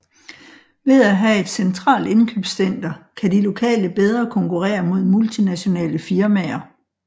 Ved at have et centralt indkøbscenter kan de lokale bedre konkurrere mod multinationale firmaer